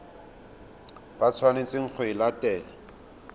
ba tshwanetseng go e latela